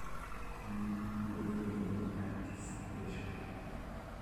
Chal makamae iluongo ni anticipation